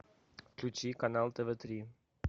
включи канал тв три